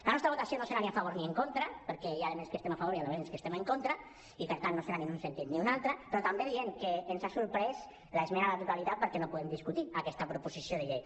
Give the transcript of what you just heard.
la nostra votació no serà ni a favor ni en contra perquè hi ha elements dels quals estem a favor i elements dels quals estem en contra i per tant no serà ni en un sentit ni un altre però també diem que ens ha sorprès l’esmena a la totalitat perquè no puguem discutir aquesta proposició de llei